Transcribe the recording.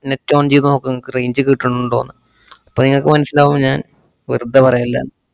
net on ചെയ്ത് നോക്ക് നിങ്ങക്ക് range കിട്ടണുണ്ടോന്ന്. അപ്പ ങ്ങക്ക് മനസ്സിലാവും ഞാന്‍ വെർതേ പറയല്ലാന്ന്.